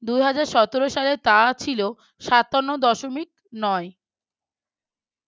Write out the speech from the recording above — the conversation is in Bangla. দুই হাজার সতেরো সালে তাহা ছিল সাতান্ন দশমিক নয় ।